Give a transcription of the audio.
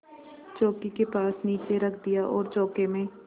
चौकी के पास नीचे रख दिया और चौके में